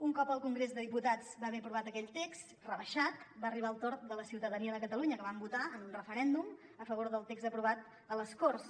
un cop el congrés de diputats va haver aprovat aquell text rebaixat va arribar el torn de la ciutadania de catalunya que vam votar en un referèndum a favor del text aprovat a les corts